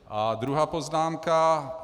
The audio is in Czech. A druhá poznámka.